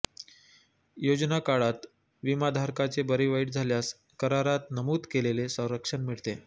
योजना काळात विमाधारकाचे बरेवाईट झाल्यास करारात नमूद केलेले संरक्षण मिळते